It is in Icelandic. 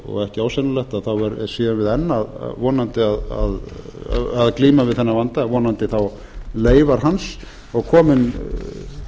og ekki ósennilegt að þá séum við enn vonandi að glíma við þennan vanda vonandi þá leifar hans og komið